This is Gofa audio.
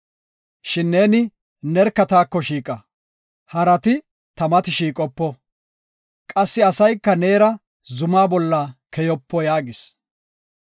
Shin neeni nerka taako shiiqa; harati ta mati shiiqopo. Qassi asayka neera zuma bolla keyopo” yaagis.